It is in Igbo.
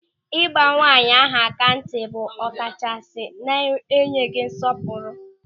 Ị gba nwaanyị ahụ aka ntị bụ ọkachasị na-enyeghị nsọpụrụ.